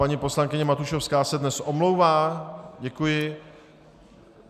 Paní poslankyně Matušovská se dnes omlouvá, děkuji.